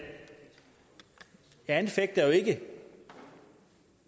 altså at